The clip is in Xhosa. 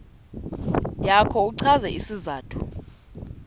yakho uchaze isizathu